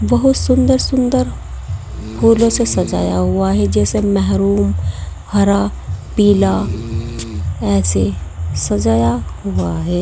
बहोत सुंदर सुंदर फूलों से सजाया हुआ है जैसे महरूम हरा पीला ऐसे सजाया हुआ है।